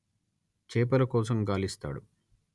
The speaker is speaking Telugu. చేపల కోసం గాలిస్తాడు